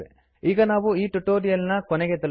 ಈಗ ನಾವು ಈ ಟ್ಯುಟೋರಿಯಲ್ ನ ಕೊನೆಗೆ ತಲುಪಿದೆವು